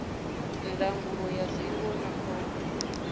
ndangulo ya zwiwo na khombo